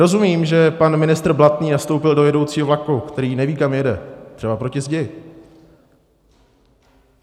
Rozumím, že pan ministr Blatný nastoupil do jedoucího vlaku, který neví, kam jede, třeba proti zdi.